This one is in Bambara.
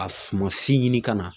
A sumasi ɲini ka na